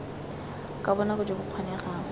ka bonako jo bo kgonegang